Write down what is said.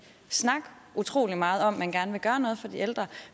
snakke utrolig meget om at man gerne vil gøre noget for de ældre